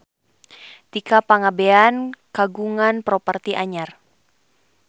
Tika Pangabean kagungan properti anyar